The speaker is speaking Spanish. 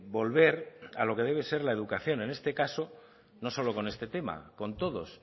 volver a lo que debe ser la educación en este caso no solo con este tema con todos